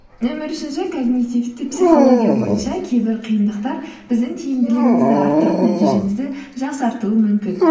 нөмір үшінші когнитивті психология бойынша кейбір қиындықтар біздің тиімділігімізді арттырып нәтижемізді жақсартуы мүмкін